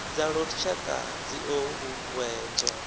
dza lushaka dzi o uuwedzwa